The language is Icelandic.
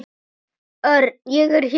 Örn, ég er hér